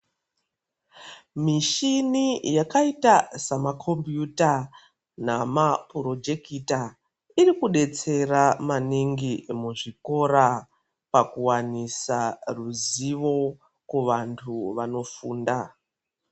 Michini yakaita samakombiyuta namapurojekita iri kudetsera maningi muzvikora pakuwanisa ruzivo kuvantu vanofunda.